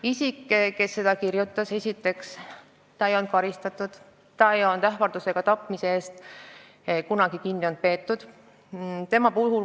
Isik, kes seda kirjutas, ei olnud esiteks varem karistatud, ta ei olnud kunagi olnud ähvarduse ega tapmise eest kinni peetud.